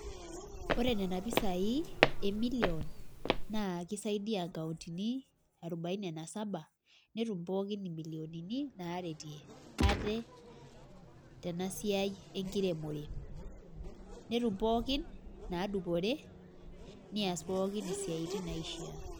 Ore Nena pisai, emilion naa kisaidia inkauntini arubaini na saba netum pookin imilionini, naaretie ate, tena siai enkiremore. netum pookin inaadupore news pookin isiatin naishia.